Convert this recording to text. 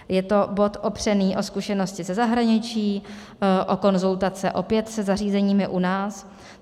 Je to bod opřený o zkušenosti ze zahraničí, o konzultace opět se zařízeními u nás.